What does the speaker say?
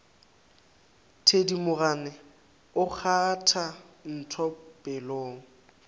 thedimogane o kgwatha ntho pelong